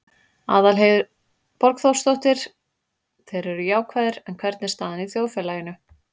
Aðalheiður Borgþórsdóttir: Þeir eru jákvæðir, en hvernig er staðan í þjóðfélaginu?